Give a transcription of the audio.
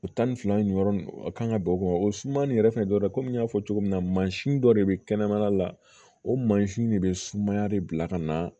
O tan ni fila in yɔrɔ nin a kan ka bɛn o kun o suma nin yɛrɛ fɛnɛ dɔ ye komi n y'a fɔ cogo min na mansin dɔ de bɛ kɛnɛmana la o mansin de bɛ sumaya de bila ka na